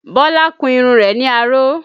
Bọlá kun irun rẹ̀ ní aró